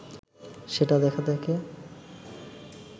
সেটা দেখা থেকে